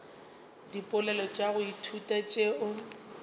dipoelo tša go ithuta tšeo